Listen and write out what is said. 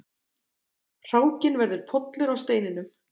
Hrákinn verður pollur á steininum.